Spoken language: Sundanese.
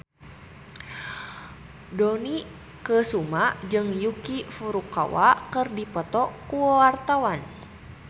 Dony Kesuma jeung Yuki Furukawa keur dipoto ku wartawan